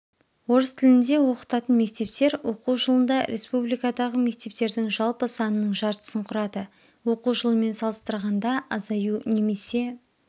орыс тілінде оқытатын мектептер оқу жылында республикадағы мектептердің жалпы санының жартысын құрады оқу жылымен саластырғанда азаю немесе